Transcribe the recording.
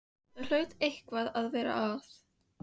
Það hlaut eitthvað að vera að.